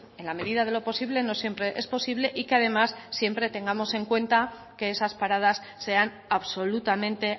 en la medida de lo posible no siempre es posible y que además siempre tengamos en cuenta que esas paradas sean absolutamente